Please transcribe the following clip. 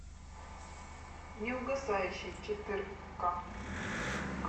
неугасающий четырка